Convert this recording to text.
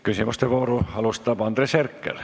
Küsimuste vooru alustab Andres Herkel.